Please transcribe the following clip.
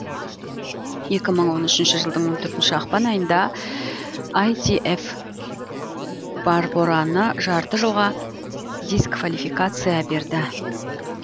екі мың он үшінші жылдың он төртінші ақпан айында ітғ барбораны жарты жылға дисквалификация берді